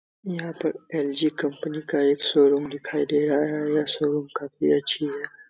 यहाँ पर LG. Company का एक शोरूम दिखाई दे रहा है यह शोरूम काफी अच्छी है।